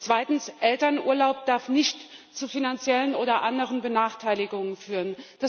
Zweitens Elternurlaub darf nicht zu finanziellen oder anderen Benachteiligungen führen.